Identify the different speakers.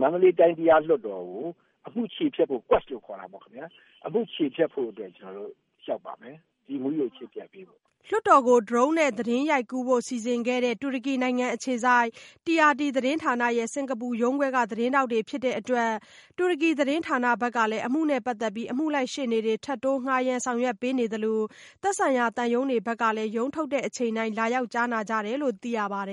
Speaker 1: မန္တလေးတိုင်း တရားလွှတ်တော်ကို အမှုချေဖျက်ဖို့အတွက် ကျနော်တို့ လျှောက်ပါမယ်။ဒီအမှုကို ချေဖျက်ပေးဖို့။
Speaker 2: " လွှတ်တော်ကို Drone နဲ့ သတင်းရိုက်ကူးဖို့ စီစဉ်ခဲ့တဲ့ တူရကီနိုင်ငံအခြေစိုက် TRT သတင်းဌာနရဲ့ စင်္ကာပူရုံးခွဲက သတင်းထောက်တွေဖြစ်တဲ့အတွက် တူရကီ သတင်းဌာနကဘက်က အမှုနဲ့ပတ်သက်ပြီး အမှုလိုက်ရှေ့နေတွေ ထပ်တိုးဌားရမ်းဆောင်ရွက်ပေးနေသလို သက်ဆိုင်ရာသံရုံးတွေဘက်ကလည်း ရုံးထုတ်ချိန်တိုင်း လာရောက်ကြားနာကြတယ်လို့ သိရပါတယ်